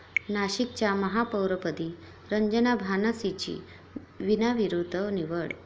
नाशिकच्या महापौरपदी रंजना भानसींची बिनविरोध निवड